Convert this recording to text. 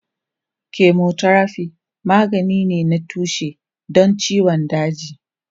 Chemotherapy magani ne na tushe don ciwon daji.